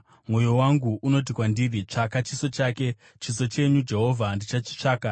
Mwoyo wangu unoti kwandiri, “Tsvaka chiso chake!” Chiso chenyu, Jehovha, ndichachitsvaka.